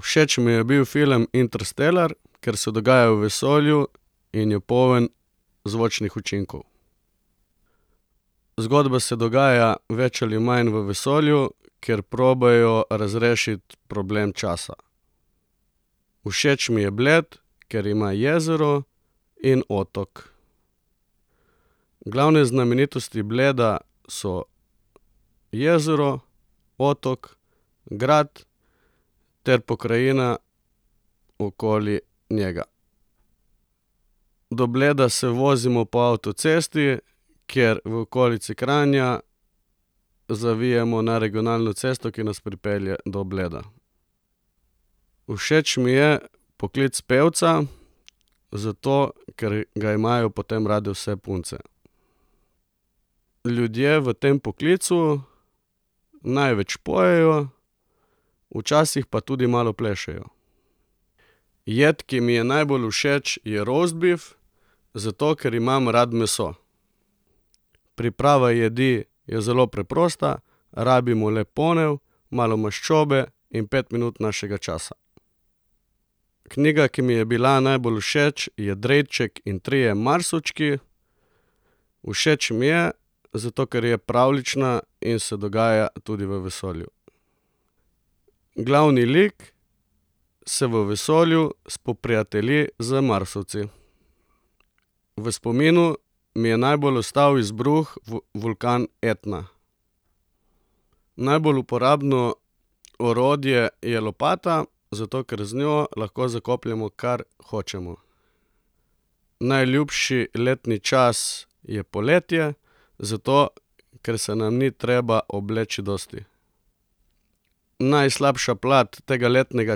Všeč mi je bil film Interstellar, kar se dogaja v vesolju in je poln zvočnih učinkov. Zgodba se dogaja več ali manj v vesolju, ker probajo razrešiti problem časa. Všeč mi je Bled, ker ima jezero in otok. Glavne znamenitosti Bleda so jezero, otok, grad ter pokrajina okoli njega. Do Bleda se vozimo po avtocesti, kjer v okolici Kranja zavijemo na regionalno cesto, ki nas pripelje do Bleda. Všeč mi je poklic pevca, zato, ker ga imajo potem rade vse punce. Ljudje v tem poklicu največ pojejo, včasih pa tudi malo plešejo. Jed, ki mi je najbolj všeč, je rostbif, zato ker imam rad meso. Priprava jedi je zelo preprosta. Rabimo le ponev, malo maščobe in pet minut našega časa. Knjiga, ki mi je bila najbolj všeč, je Drejček in trije Marsovčki. Všeč mi je, zato ker je pravljična in se dogaja tudi v vesolju. Glavni lik se v vesolju spoprijatelji z Marsovci. V spominu mi je najbolj ostal izbruh vulkana Etna. Najbolj uporabno orodje je lopata, zato ker z njo lahko zakopljemo, kar hočemo. Najljubši letni čas je poletje, zato kar se nam ni treba obleči dosti. Najslabša plat tega letnega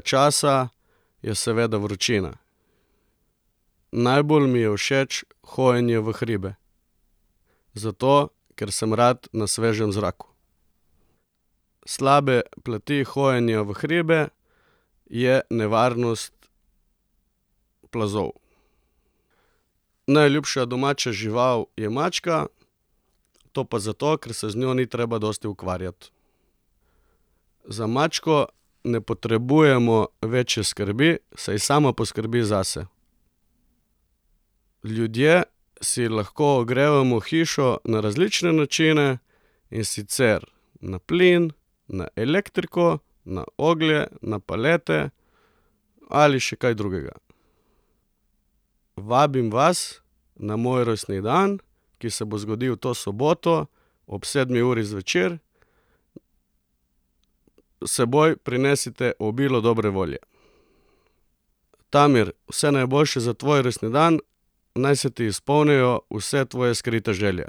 časa je seveda vročina. Najbolj mi je všeč hojenje v hribe. Zato, ker sem rad na svežem zraku. Slabe plati hojenja v hribe je nevarnost plazov. Najljubša domača žival je mačka. To pa zato, ker se z njo ni treba dosti ukvarjati. Za mačko ne potrebujemo večje skrbi, saj sama poskrbi zase. Ljudje si lahko ogrevamo hišo na različne načine. In sicer na plin, na elektriko, na oglje, na palete ali še kaj drugega. Vabim vas na moj rojstni dan, ki se bo zgodil to soboto ob sedmi uri zvečer. S seboj prinesite obilo dobre volje. Tamir, vse najboljše za tvoj rojstni dan. Naj se ti izpolnijo vse tvoje skrite želje.